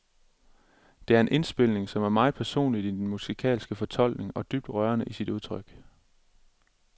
Det er en indspilning, som er meget personlig i den musikalske fortolkning, og dybt rørende i sit udtryk.